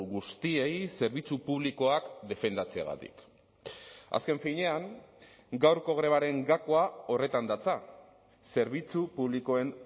guztiei zerbitzu publikoak defendatzeagatik azken finean gaurko grebaren gakoa horretan datza zerbitzu publikoen